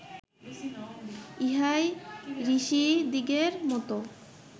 ইহাই ঋষিদিগের মত